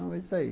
É isso aí.